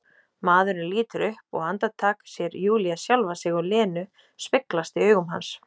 Maðurinn lítur upp og andartak sér Júlía sjálfa sig og Lenu speglast í augum hans.